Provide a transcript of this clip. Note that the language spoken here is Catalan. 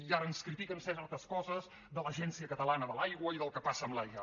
i ara ens critiquen certes coses de l’agència catalana de l’aigua i del que passa amb l’aigua